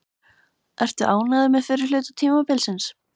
Ertu ánægður með fyrri hluta tímabilsins?